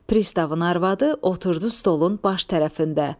Pristavın arvadı oturdu stolun baş tərəfində.